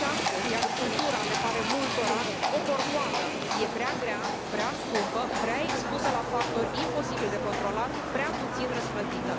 Căci astăzi agricultura le pare multora o corvoadă, e prea grea, prea scumpă, prea expusă la factori imposibil de controlat, prea puțin răsplătită.